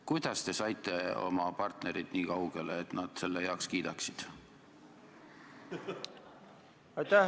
Kuidas te saite oma partnerid niikaugele, et nad selle heaks kiidaksid?